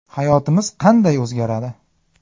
Hayotimiz qanday o‘zgaradi?.